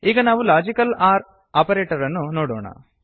ಈಗ ನಾವು logical OR operator ಅನ್ನು ನೋಡೋಣ